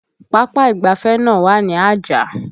Papa ìgbáfẹ́ náà wà ní Ajah